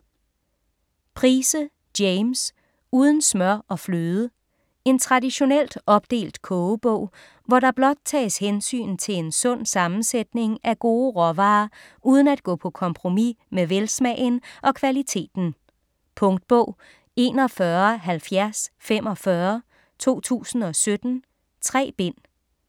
Price, James: Uden smør og fløde En traditionelt opdelt kogebog, hvor der blot tages hensyn til en sund sammensætning af gode råvarer uden at gå på kompromis med velsmagen og kvaliteten. Punktbog 417045 2017. 3 bind.